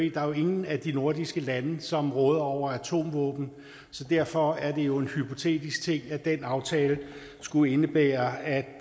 ingen af de nordiske lande som råder over atomvåben så derfor er det jo en hypotetisk ting at den aftale skulle indebære at